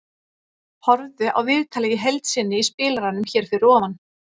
Horfðu á viðtalið í heild sinni í spilaranum hér fyrir ofan.